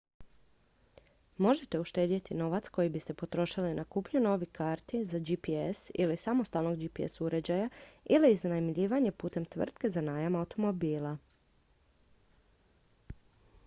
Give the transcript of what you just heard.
možete uštedjeti novac koji biste potrošili na kupnju novih karti za gps ili samostalnog gps uređaja ili iznajmljivanje putem tvrtke za najam automobila